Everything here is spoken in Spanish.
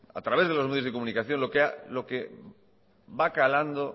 a través de los medios de comunicación lo que va calando